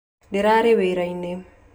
Ndĩrarĩ wĩra -inĩ